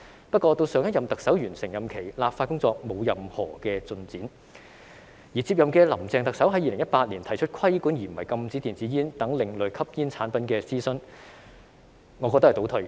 不過，到上任特首完成任期，立法工作沒有任何進展，而接任的林鄭特首在2018年提出規管而不是禁止電子煙等另類吸煙產品的諮詢，我認為是倒退的。